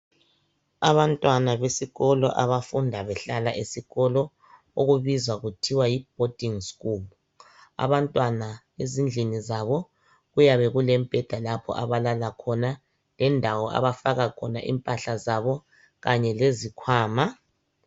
Abantwana besikolo abafunda behlala esikolo okubizwa kuthiwe yiboarding school abantwana ezindlini zabo kuyabe kulemibheda lapha abalala khona lendawo lapha abafaka khona impahla zabo kanye lezikhwama